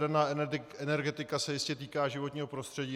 Jaderná energetika se jistě týká životního prostředí.